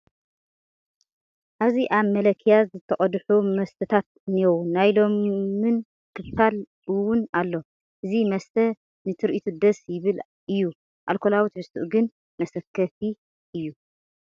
ኣብዚ ኣብ መለኪያ ዝተቐድሑ መስተታት እኔዉ፡፡ ናይ ሎሚን ክፋል እውን ኣሎ፡፡ እዚ መስተ ንትርኢቱ ደስ ይብል እዩ፡፡ ኣልኮላዊ ትሕዝቱኡ ግን መሰከፊ እዩ፡፡